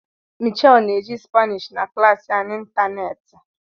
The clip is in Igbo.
Michelle na-eji Spanish na klas ya n'ịntanetị